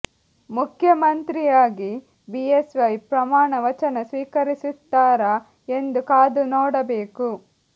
ಮುಖ್ಯಮಂತ್ರಿಯಾಗಿ B S Y ಪ್ರಮಾಣ ವಚನ ಸ್ವೀಕರಿಸುತ್ತಾರಾ ಎಂದು ಕಾದು ನೋಡಬೇಕು